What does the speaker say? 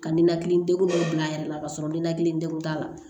Ka ninakili degun dɔ bila a yɛrɛ la ka sɔrɔ ninakili degun t'a la